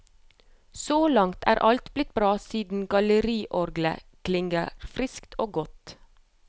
Så langt er alt blitt bra siden galleriorglet klinger friskt og godt.